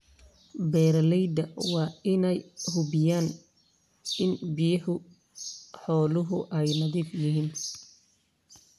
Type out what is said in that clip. Beeralayda waa in ay hubiyaan in biyaha xooluhu ay nadiif yihiin.